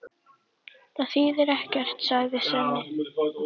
Það þýðir ekkert, sagði Svenni.